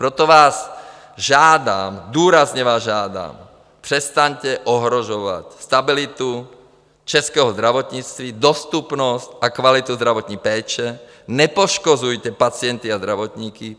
Proto vás žádám, důrazně vás žádám, přestaňte ohrožovat stabilitu českého zdravotnictví, dostupnost a kvalitu zdravotní péče, nepoškozujte pacienty a zdravotníky.